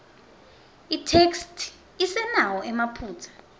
itheksthi isenawo emaphutsa